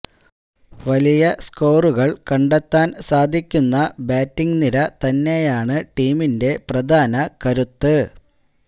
വലിയ സ്കോറുകൾ കണ്ടെത്താൻ സാധിക്കുന്ന ബാറ്റിങ് നിര തന്നെയാണ് ടീമിന്റെ പ്രധാന കരുത്ത്